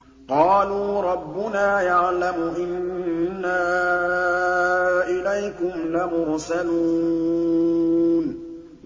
قَالُوا رَبُّنَا يَعْلَمُ إِنَّا إِلَيْكُمْ لَمُرْسَلُونَ